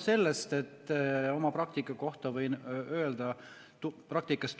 Ja oma praktikast